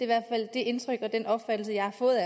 hvert fald det indtryk og den opfattelse jeg har fået